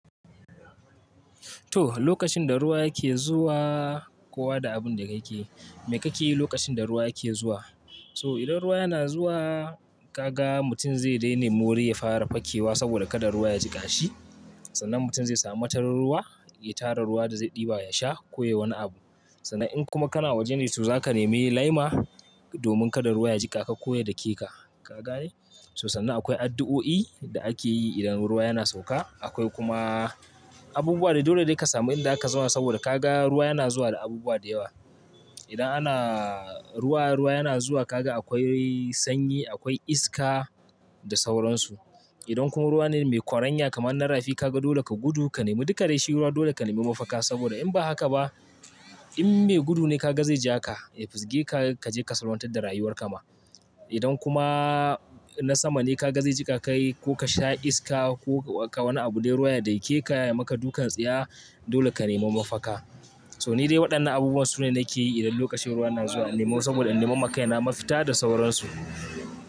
To, lokacin da ruwa yake zuwa, kowa da abinda ka ke, me kake yi lokacin da ruwa yake zuwa? To idan ruwa yana zuwa, kaga mutum zai dai nemi wuri ya fara fakewa sabida kada ruwa ya jiƙa shi. Sannan mutum zai samu matarar ruwa, ya tara ruwa da zai ɗiba ya sha ko yayi wani abu. Sannan in kuma kana waje ne, to zaka nemi laima, domin kada ruwa ya jiƙa ka ko ya dake ka, ka gane? To sannan akwai addu'o'i da ake yi idan ruwa yana sauƙa. Akwai kuma abubuwa da dole dai ka samu inda zaka zauna sabida kaga ruwa yana zuwa da abubuwa da yawa. Idan ana ruwa, ruwa yana zuwa ka ga akwai sanyi, akwai iska da sauransu. Idan kuma ruwa ne mai kwaranya kamar na rafi ka ga dole ka gudu, ka nemi dukka dai shi ruwa dole ka nemi mafaka sabida in ba haka ba, in mai gudu ne ka ga zai ja ka, ya fisge ka, ka je ka salwantar da rayuwarka ma. Idan kuma na sama ne ka ga zai jiƙa kai, ko ka sha iska ko wani abu dai ruwa ya dake ka, ya maka dukan tsiya, dole ka nema mafaka. To ni dai waɗannan abubuwan su ne nake yi idan lokacin ruwa yana zuwa. Na nemo sabida in nemo ma kaina mafita da sauransu.